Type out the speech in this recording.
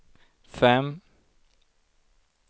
fem